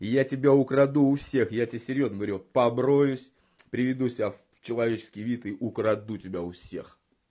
я тебя украду у всех я тебе серьёзно говорю побреюсь приведу себя в человеческий вид и украду тебя у всех